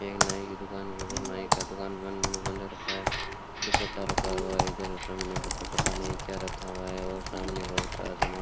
एक नाई की दुकान के ऊपर नाई का दुकान बन रखा है रखा हुआ है इधर सामने पत पता नहीं क्या रखा हुआ है और सामने बहुत सारा सामान --